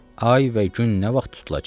Ay və gün nə vaxt tutulacaq?